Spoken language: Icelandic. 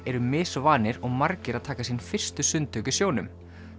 eru misvanir og margir að taka sín fyrstu sundtök í sjónum